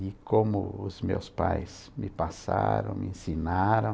De como os meus pais me passaram, me ensinaram.